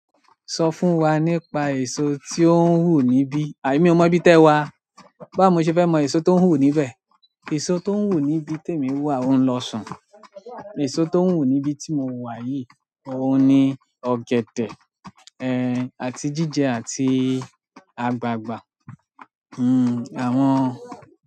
Sọ fún wa nípa èso ti ó ń wu níbí. À emí ò mọ ibi tẹ wa. Báwo ni mo ṣe fẹ́ mọ èso tó ń wù níbẹ̀. Èso tó ń wù níbi tí èmi wà òun lọ sàn. Èso tó ń wù níbi tí mo wà yìí òun ni ọ̀gẹ̀dẹ̀, ẹ, àti jíjẹ àti àgbagbà. Hmm àwọn.